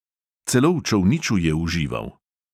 Celo v čolniču je užival.